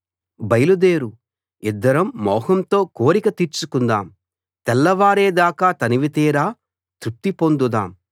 బయలు దేరు ఇద్దరం మోహంతో కోరిక తీర్చుకుందాం తెల్లవారే దాకా తనివితీరా తృప్తి పొందుదాం